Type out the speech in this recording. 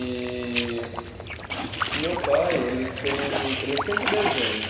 E o meu pai ele tem, ele sempre desenha.